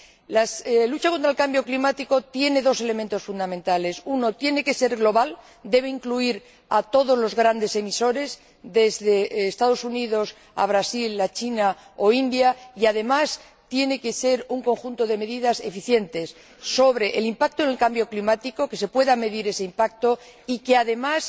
La lucha contra el cambio climático tiene dos elementos fundamentales en primer lugar, tiene que ser global, debe incluir a todos los grandes emisores desde los Estados Unidos a Brasil, China o la India y, en segundo lugar, tiene que ser un conjunto de medidas eficiente sobre el impacto en el cambio climático, es necesario que se pueda medir ese impacto y que, además,